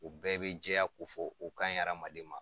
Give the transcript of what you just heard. o bɛɛ be jɛya ko fɔ okaɲi adamaden ma